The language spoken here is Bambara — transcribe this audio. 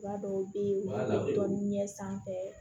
Ba dɔw be yen u b'a dɔn ɲɛ sanfɛ